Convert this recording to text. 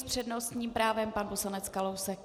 S přednostním právem pan poslanec Kalousek.